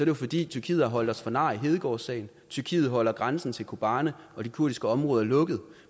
jo fordi tyrkiet har holdt os for nar i hedegaardsagen tyrkiet holder grænsen til kobani og de kurdiske områder lukket